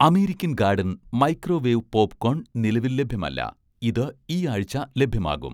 American garden' microwave popcorn നിലവിൽ ലഭ്യമല്ല, ഇത് ഈ ആഴ്ച ലഭ്യമാകും